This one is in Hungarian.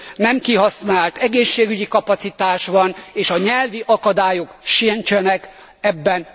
nem kihasznált egészségügyi kapacitás van, és a nyelvi akadályok sincsenek ebben.